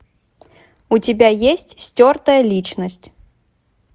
у тебя есть стертая личность